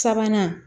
Sabanan